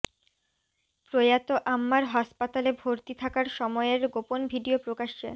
প্রয়াত আম্মার হাসপাতালে ভর্তি থাকার সময়ের গোপন ভিডিও প্রকাশ্যে